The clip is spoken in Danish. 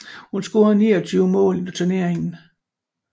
Hun scorede 29 mål i turneringen